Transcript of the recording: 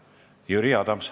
Jüri Adams.